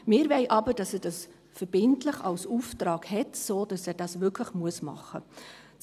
Wir wollen aber, dass er dies verbindlich als Auftrag hat, sodass er das wirklich machen muss.